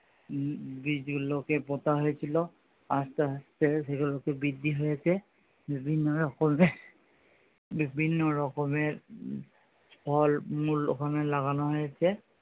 উম বীচ গুলোকে পোঁতা হয়েছিল আস্তে আস্তে সেগুলোকে বৃদ্ধি হয়েছে বিভিন্ন রকমের উম বিভিন্ন রকমের ফল মূল ওখানে লাগানো হয়েছে।